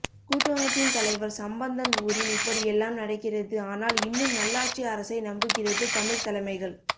கூட்டமைப்பின் தலைவர் சம்பந்தன் ஊரில் இப்படி எல்லாம் நடக்கிறது ஆனால் இன்னும் நல்லாட்சி அரசை நம்புகிறது தமிழ் தலைமைகள்